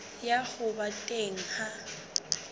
ya ho ba teng ha